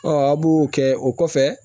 a b'o kɛ o kɔfɛ